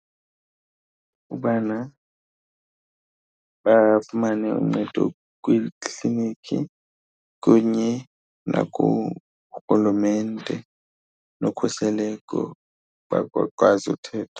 Ubana bafumane uncedo kwiikliniki kunye nakuRhulumente nokhuseleko uba bakwazi uthetha.